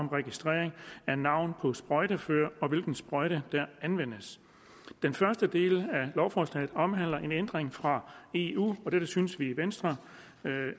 om registrering af navn på sprøjtefører og hvilken sprøjte der anvendes den første del af lovforslaget omhandler en ændring fra eu og vi synes i venstre